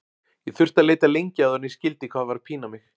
Ég þurfti að leita lengi áður en ég skildi hvað var að pína mig.